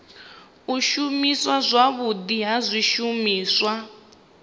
u shumiswa zwavhudi ha zwishumiswa